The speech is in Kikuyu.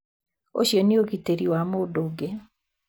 Ũcio nĩ ũgitĩri wa mũndũ ũngĩ.